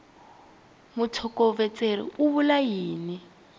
mutlhokovetseri u vula yini hi